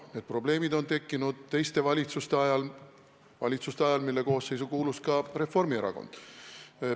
Need probleemid on tekkinud teiste valitsuste ajal, valitsuste ajal, mille koosseisu kuulus ka Reformierakond.